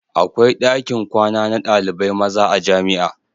Akwai dakin kwana na ɗalibai maza a jamia